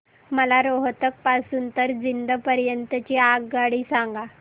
मला रोहतक पासून तर जिंद पर्यंत ची आगगाडी सांगा